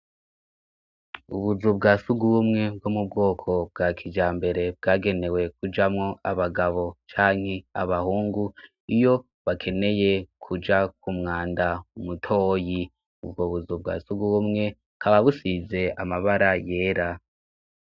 Ubuzu bwa suguwumwe bwo mu bwoko bwa kija mbere bwagenewe kujamwo abagabo canke abahungu iyo bakeneye kuja ku mwanda umutoyi ubwo buzu bwa sugaubumwe kababusize amabara yera.